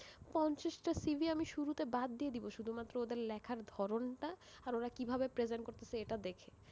পঞ্চাশ টা CV আমি শুরুতে বাদ দিয়ে দিবো, শুধুমাত্র ওদের লেখার ধরণ টা আর ওরা কিভাবে present করতেসে এটা দেখে,